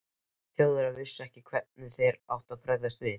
Þjóðverjar vissu ekki, hvernig þeir áttu að bregðast við.